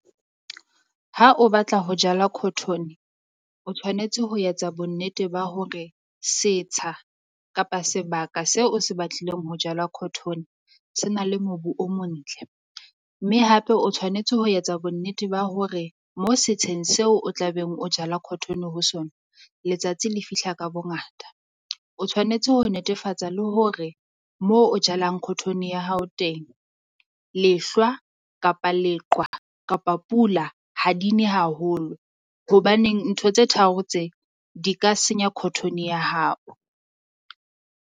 Ha o batla ho jala cotton o tshwanetse ho etsa bonnete ba hore setsha, kapa sebaka seo o se batlileng ho jala cotton se na le mobu o montle. Mme hape o tshwanetse ho etsa bonnete ba hore mo setsheng seo o tla beng o jala cotton ho sona letsatsi le fihla ka bongata. O tshwanetse ho netefatsa le hore moo o jalang cotton ya hao teng, lehlwa kapa leqwa kapa pula ha di ne haholo. Hobaneng ntho tse tharo tse di ka senya cotton ya hao.